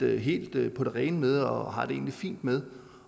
helt på det rene med og har det egentlig fint med